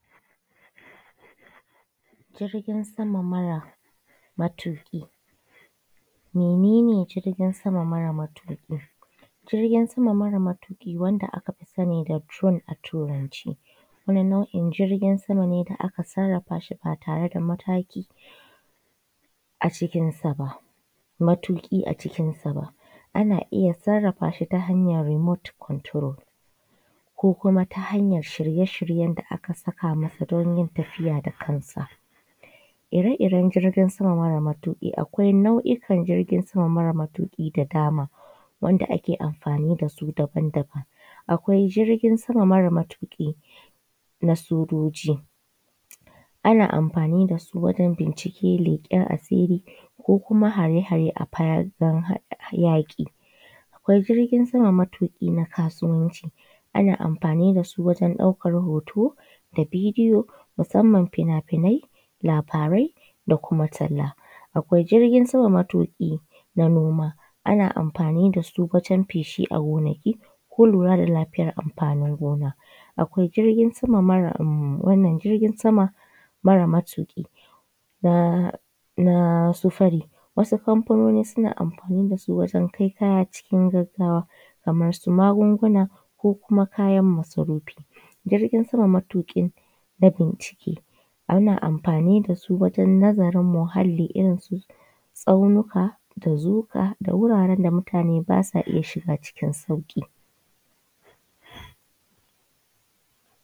Jirgin sama mara matuƙi. Mene ne jirgin sama mara matuƙi? Jirgin sama mara matuƙi wanda akafi sani da duron a turance wani nau’in jirgin sama ne da aka sarrafashi ba tare da matuƙi a cikin saba. Ana iyya sarrafashi ta hanyan rumot konturol ko kuma ta hanyan shirye shiryen da aka saka masa dan tafiya da kansa. Ire iren jirgin sama mara matuƙi akwai nau’ikan jirgin sama mara matuƙi da dama wanda ake amfani dasu daban daban. Akwai jirgin sama mara matuƙi na sojoji ana amfani dasu wajen bincike, leƙen asiri ko kuma hare hare a fagen yaƙi. Akwai jirgin sama mara matuƙi na kasuwanci ana amfani dasu wajen ɗaukan hoto da bideyo musammana fina finai, labarai da kuma talla. Jirgin sama mara matuƙi na noma ana amfani dasu wajen feshi a gonaki ko lura da lafiyar amfanin gona. Akwai jirgin sama mara matuƙi na sufuri kamfanoni suna amfani dasu wajen kai kaya cikin gaggawa kamar su magunguna ko kuma su kayan masarufi. Jirgin sama mara matuƙi na bincike ana amfani dasu wajen nazarin muhalli irri su tsaunuka dazufa da wuraren da mutane basa iyya shiga cikin sauƙi.